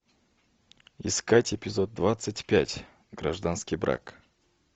искать эпизод двадцать пять гражданский брак